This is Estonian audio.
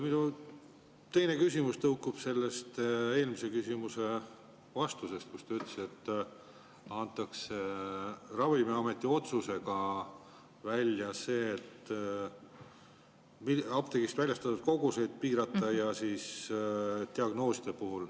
Minu teine küsimus tõukub sellest eelmise küsimuse vastusest, kus te ütlesite, et on Ravimiameti otsus apteegist väljastatavaid koguseid piirata ja diagnoose.